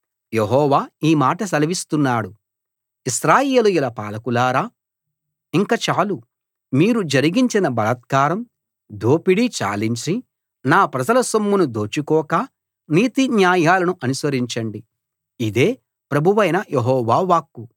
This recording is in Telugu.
యెహోవా ఈ మాట సెలవిస్తున్నాడు ఇశ్రాయేలీయుల పాలకులారా ఇంక చాలు మీరు జరిగించిన బలాత్కారం దోపిడి చాలించి నా ప్రజల సొమ్మును దోచుకోక నీతి న్యాయాలను అనుసరించండి ఇదే ప్రభువైన యెహోవా వాక్కు